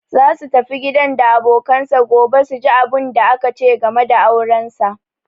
Za su tafi gidan da abokanansa gobe su ji abunda aka ce game da auransa.